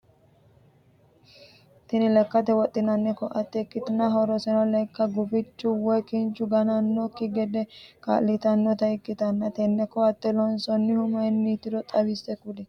Tinni lekate wodhinnanni koate ikitanna horoseno leka gufichu woyi kinchu gawajanoseki gede kaa'litanota ikitanna tenne koate loonsoonnihu mayinnitiro xawise kuli?